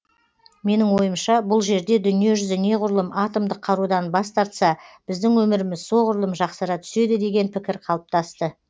менің ойымша бұл жерде дүние жүзі неғұрлым атомдық қарудан бас тартса біздің өміріміз соғұрлым жақсара түседі деген пікір қалыптасты